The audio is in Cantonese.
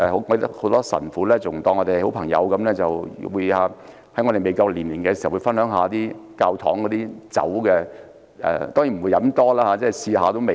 很多神父把我們當作好朋友，在我們未成年時，已讓我們分享教堂內的酒；當然我們只是淺嘗一下味道。